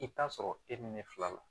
I bɛ t'a sɔrɔ e bɛ ne fila la